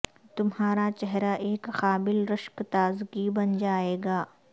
تمہارا چہرہ ایک قابل رشک تازگی بن جائے گا